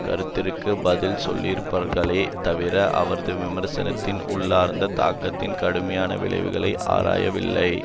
கருத்திற்கு பதில் சொல்லியிருக்கிறார்களே தவிர அவரது விமர்சனத்தின் உள்ளார்ந்த தாக்கத்தின் கடுமையான விளைவுகளை ஆராயவில்லை